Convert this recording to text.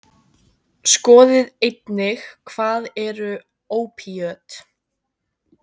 Skoðið einnig: Hvað eru ópíöt?